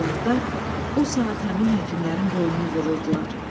Cəllatlar o saat həmin həkimlərin boynunu vururdular.